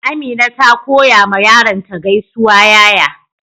Amina ta koya ma yaron ta gaisuwa yaya.